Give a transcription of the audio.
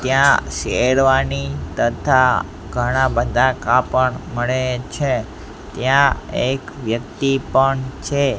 ત્યાં શેરવાની તથા ઘણા બધા કાપડ મળે છે ત્યાં એક વ્યક્તિ પણ છે.